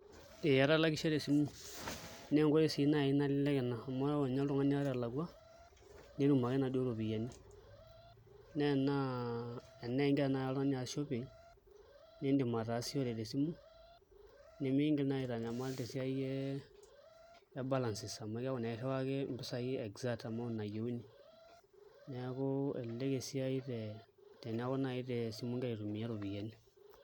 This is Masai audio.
Ee atalakishe tesimu naa enkoitoi sii naai nalelek ina amu ore ninye oltung'ani ata elakua netum ake inaduo ropiyiani naa enaa enetii tanakata oltung'ani aas shopping niidim ataasishore tesimu nemiingil naai aitanyamal tesiai e balances amu eeku naa irriwaki impisai exact amount nayieuni, neeku elelek esiai teneeku tesimu naai igira aitumiai iropiyiani.